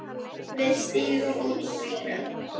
Við stigum út úr bílnum.